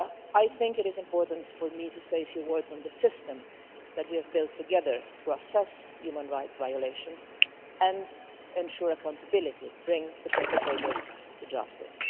I think that it is important for me to say a few words on the system that we have built together to assess human rights violations and ensure accountability, and bring perpetrators to justice.